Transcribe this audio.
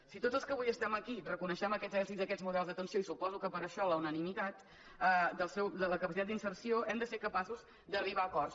si tots els que avui estem aquí reconeixem aquests èxits d’aquests models d’atenció i suposo que per això la unanimitat de la capacitat d’inserció hem de ser capaços d’arribar a acords